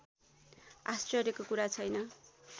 आश्चर्यको कुरा छैन